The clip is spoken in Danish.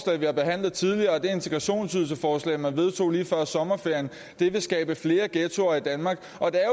vi har behandlet tidligere og det integrationsydelsesforslag man vedtog lige før sommerferien vil skabe flere ghettoer i danmark